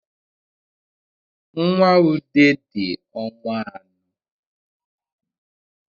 Nnwa ude di ọnwa anọ